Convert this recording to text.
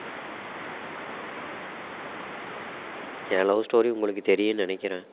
ஏன் love story உங்களுக்கு தெரியும்னு நினைக்கிறேன்